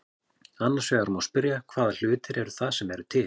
Annars vegar má spyrja hvaða hlutir það eru sem eru til.